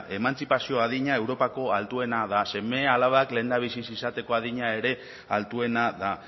emantzipazio adina europako altuena da seme alabak lehendabizi izateko adina ere altuena da